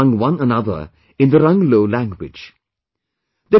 They converse among one another in the Ranglo language